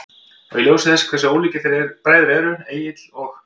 Og í ljósi þess hversu ólíkir þeir bræður eru, Egill og